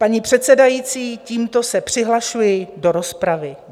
Paní předsedající, tímto se přihlašuji do rozpravy.